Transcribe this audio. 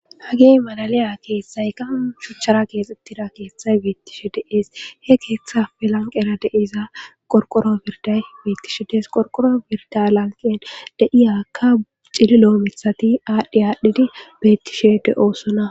Hagey malaliya keethtthaykka shuuchchara keexxetida keethtthay bettishe dees he keeththappe lanqera deiza qorqqorro birday beettishe des qorqqorro birda lanqen de'iyakka cillillo miiththatti adhi adhi bettishe de'ossonna